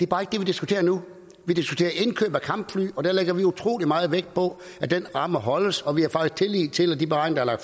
bare ikke det vi diskuterer nu vi diskuterer indkøb af kampfly og der lægger vi utrolig meget vægt på at rammen holdes og vi har faktisk tillid til at de beregninger der